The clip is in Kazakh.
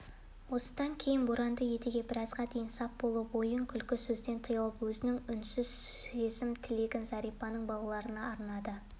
осыдан кейін боранды едіге біразға дейін сап болып ойын-күлкі сөзден тыйылып өзінің үнсіз сезім-тілегін зәрипаның балаларына арнады